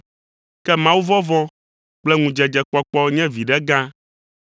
Ke mawuvɔvɔ̃ kple ŋudzedzekpɔkpɔ nye viɖe gã,